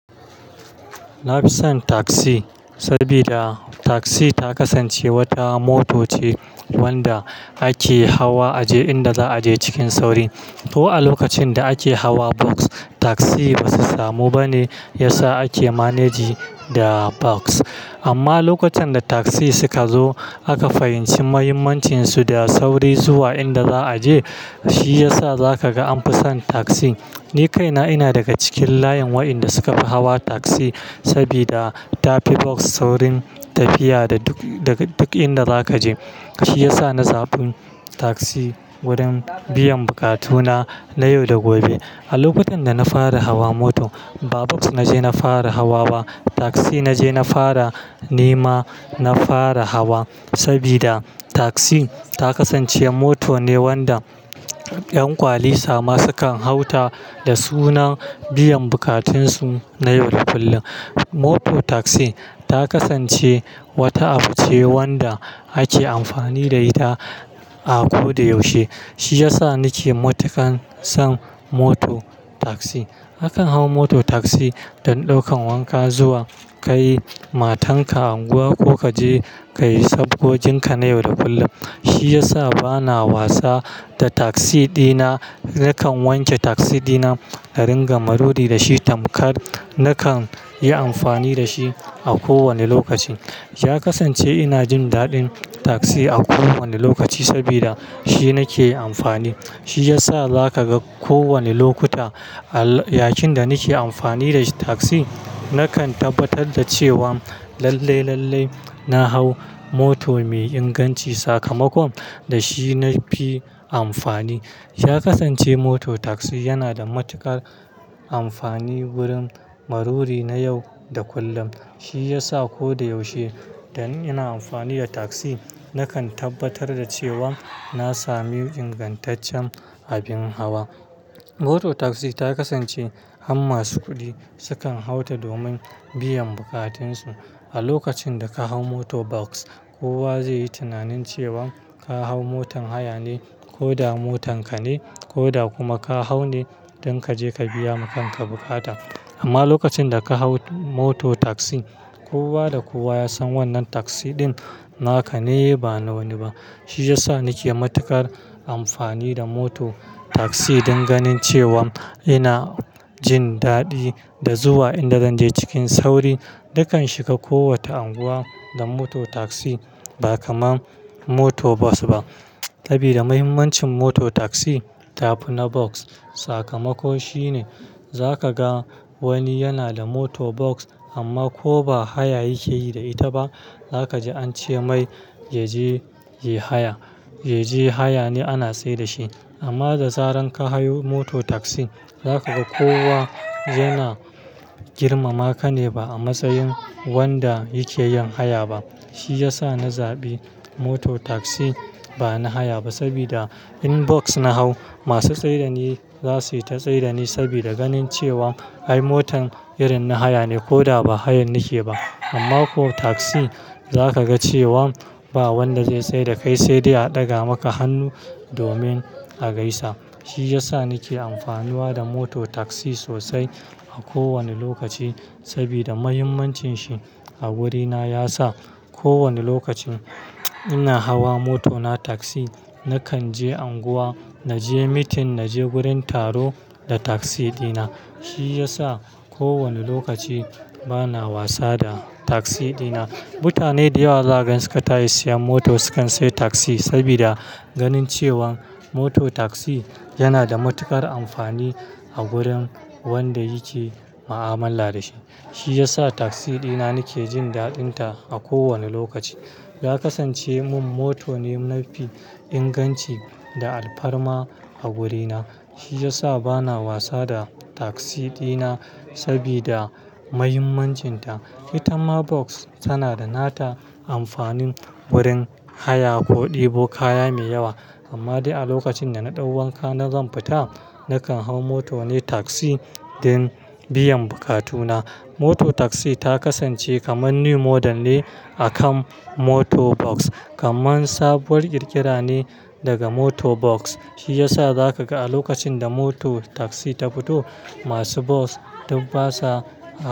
Na fi son taksi saboda takzi ta kasance wata mota ce wanda ake hawa a je inda za'a je cikin sauri. To a lokacin da ake hawa bas, taksi ba su samu ba ne. Yasa ake manejin da bas. Amma lokacin da taksi suka zo aka fahimci muhimmancinsu da sauri zuwa inda za a je. Shi ya sa za ka ga an fi son taksi. Ni kaina ina daga cikin layin waɗanda suka fi hawa taksi saboda ta fi bas saurin tafiya da duk-- daga duk inda za ka je. Shi ya sa na zaɓi taksi wurin biyan bukatuna na yau da gobe. A lokutan da na fara hawa mota ba bas na je na fara hawa ba, taksi na je na fara nema na fara hawa. Saboda taksi ta kasance mota ne wanda 'yan kwali sama sukan hau ta da sunan biyan bukatunsu na yau da kullum. Moto tagzi ta kasance wata abu ce wanda ake amfani da ita a ko da yaushe. Shi ya sa ni ke matukar son moto taksi. Akan hau moto taksi don ɗaukan wanka, zuwa kai matanka unguwa ko ka je ka yi sabogoginka na yau da kullum. Shi ya sa bana wasa da taksi dina. Nakan wanke taksi dina na ringa maruri da shi tamkar nakan yi amfani da shi a kowane lokaci. Ya kasance ina jin daɗin taksi a kowane lokaci saboda shi nake amfani. Shi ya sa za ka ga kowane lokuta, a yakin da nake amfani da taksi nakan tabbatar da cewa lalle, lalle na hau moto mai inganci sakamakon da shi na fi amfani. Ya kasance moto taksi yana da matuƙar amfani wurin maruri na yau da kullum. Shi ya sa ko da yaushe da ina amfani da taksi, nakan tabbatar da cewa na sami ingantaccen abin hawa. Moto tagzi ta kasance har masu kuɗi sukan hau ta domin biyan bukatunsu. A lokacin da ka hau moto bas, kowa zai yi tunanin cewa ka hau motan haya ne, ko da motan ka ne, ko da kuma ka hau ne don ka je ka biya makanka bukata. Amma lokacin da ka hau moto tagzi, kowa da kowa ya san wannan tagzi ɗin naka ne ba na wani ba. Shi ya sa nake matuƙar amfani da moto tagzi dan ganin cewa ina jin daɗi da zuwa inda zan je cikin sauri. Nakan shiga kowace unguwa da moto tagzi ba kamar moto bas ba. Saboda muhimmancin moto tagzi, ta fi na bas. Sakamakon shi ne za ka ga wani yana da moto bas amma ko ba haya yake yi da ita ba, za ka ji an ce mai, "Yaje, yaje haya, yaje haya ne ana tsayar da shi." Amma da zaran ka hayo moto tagzi, za ka ga kowa yana girmama ka ne ba a matsayin wanda yake yin haya ba. Shi ya sa na zaɓi moto tagzi. Ba na haya ba saboda in bas na hau, masu tsayar ni za su yi ta tsayar ni saboda ganin cewa ai motan irin na haya ne ko da ba hayan nake ba. Amma ko tagzi za ka ga cewa ba wanda zai tsai da kai sai dai a ɗaga maka hannu domin a gaisa. Shi ya sa nake amfani wa da moto tagzi sosai a kowane lokaci saboda muhimmancin shi a wurina ya sa kowane lokacin ina hawa moto na tagzi, na kan je unguwa, na je meeting, na je wurin taro da tagzi dina. Shi ya sa kowane lokaci bana wasa da tagzi dina. Mutane da yawa da zan gaskata sun yi siyan moto sukan sayi tagzi sabida ganin cewa moto tagzi yana da matuƙar amfani a wurin wanda yake ma'amala da shi. Shi ya sa tagzi dina nake jin daɗinta a kowane lokaci. Ya kasance mun moto ne na fi inganci da alfarma a wurina. Shi ya sa bana wasa da tagzi dina saboda muhimmancinta. Ita ma bas tana da nata amfanin wurin haya ko ɗebo kaya mai yawa. Amma dai a lokacin da na ɗau wanka na zan fita, nakan hau moto ne tagzi don biyan bukatuna. Moto tagzi ta kasance kaman new model ne a kan moto bas. Kaman sabuwar ƙirƙira ne daga moto bas. Shi ya sa za ka ga a lokacin da moto tagzi ta fito, masu bas duk basa.